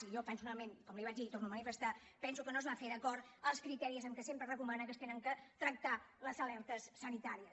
i jo perso·nalment com li ho vaig dir i ho torno a manifestar penso que no es va fer d’acord amb els criteris amb què sempre es recomana que s’han de tractar les aler·tes sanitàries